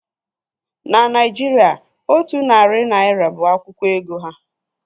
Na Naịjirịa, otu narị naira bụ akwụkwọ ego ha